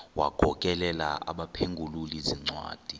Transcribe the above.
wagokelela abaphengululi zincwadi